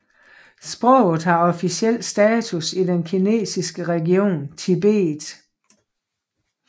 Sproget har officiel status i den kinesiske region Tibet